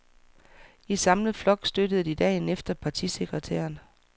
I samlet flok støttede de dagen efter partisekretæren.